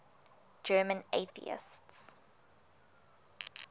german atheists